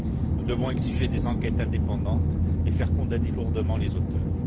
Nous devons exiger des enquêtes indépendantes et faire condamner lourdement les auteurs.